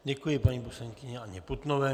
Děkuji paní poslankyni Anně Putnové.